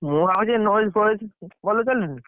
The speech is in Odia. ମୁଁ ଭାବୁଚି ଏଇ ଫଏଜ୍‌ ଭଲ ଚାଲୁନି?